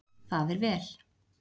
Það er vel.